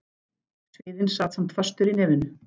Sviðinn sat samt fastur í nefinu.